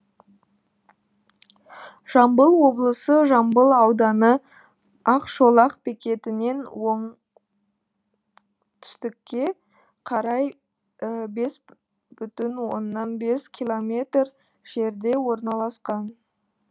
жамбыл облысы жамбыл ауданы ақшолақ бекетінен оңтүстікке қарай бес бүтін оннан бес километр жерде орналасқан